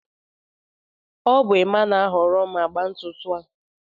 ọ bụ Emma na-ahọrọ m agba ntutu a